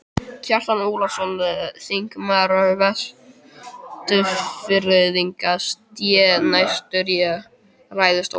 Kjartan Ólafsson, þingmaður Vestfirðinga, sté næstur í ræðustól.